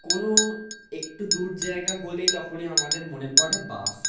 কোনো-ও একটু দূর জায়গা হলে তখনি আমাদের মনে পরে বাস ।